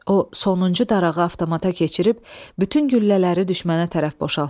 O sonuncu darağı avtomata keçirib bütün güllələri düşmənə tərəf boşaltdı.